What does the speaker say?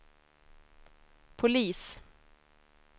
polis